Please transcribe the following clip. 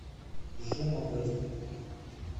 жумавой